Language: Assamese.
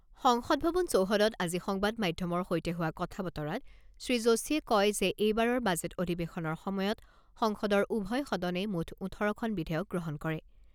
সংসদ ভৱন চৌহদত আজি সংবাদ মাধ্যমৰ সৈতে হোৱা কথা বতৰাত শ্ৰীযোশীয়ে কয় যে এইবাৰৰ বাজেট অধিৱেশনৰ সময়ত সংসদৰ উভয় সদনে মুঠ ওঠৰখন বিধেয়ক গ্ৰহণ কৰে।